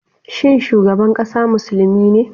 Shin shugaban kasa musulmi ne?